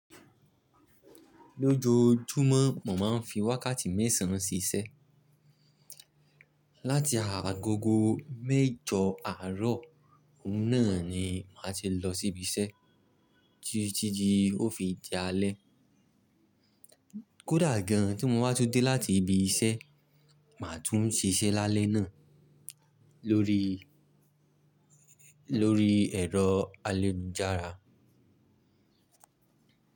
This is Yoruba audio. Lójoojúmọ́ mo máa ń fi wákàtí mẹ́sàn án ṣíṣẹ́. Láti agogo mẹ́jọ àárọ̀ náà ni màá ti lọ síbi iṣẹ́ títí ti ó fi di álẹ́. Kódà gan an tí mo bá tun dé láti ibi iṣẹ́, màá tún ṣiṣẹ́ lálẹ́ náà lórí, lórí ẹ̀rọ ayélujára.